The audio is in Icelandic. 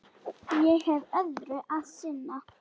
Ég hef öðru að sinna.